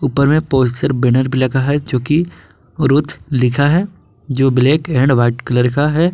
ऊपर में poster banner लगा हुआ है जोकि वरुथ लिखा है जो ब्लैक एंड व्हाइट कलर का है।